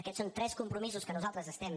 aquests són tres compromisos que nosaltres estem